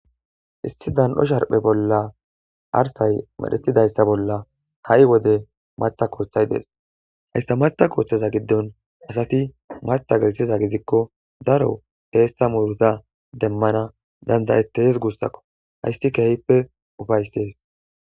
Issi dan'o sharphe bolla arsay medhetidayssa bolla ha'i wode matha kooththay dees hayssa matha kooththeza giddon asati matha gelthiza gidikko daro teessa muruta demmana dandayettees guussakko hayssi kehippe ufayssees